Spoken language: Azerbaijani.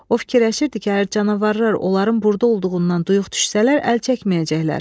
O fikirləşirdi ki, əgər canavarlar onların burda olduğundan duyuq düşsələr əl çəkməyəcəklər.